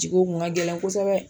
Ji ko kun ka gɛlɛn kosɛbɛ.